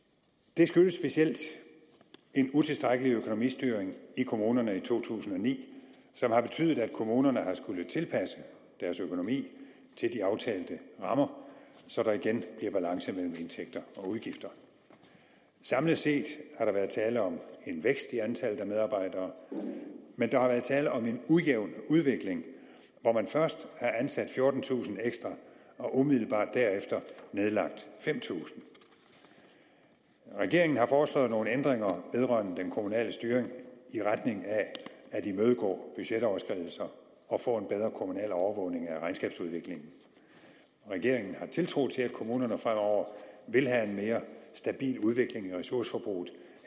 det skyldes specielt en utilstrækkelig økonomistyring i kommunerne i to tusind og ni som har betydet at kommunerne har skullet tilpasse deres økonomi til de aftalte rammer så der igen bliver balance mellem indtægter og udgifter samlet set har der været tale om en vækst i antallet af medarbejdere men der har været tale om en ujævn udvikling hvor man først har ansat fjortentusind ekstra og umiddelbart derefter nedlagt fem tusind regeringen har foreslået nogle ændringer vedrørende den kommunale styring i retning af at imødegå budgetoverskridelser og få en bedre kommunal overvågning af regnskabsudviklingen regeringen har tiltro til at kommunerne fremover vil have en mere stabil udvikling i ressourceforbruget